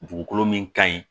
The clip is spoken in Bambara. Dugukolo min ka ɲi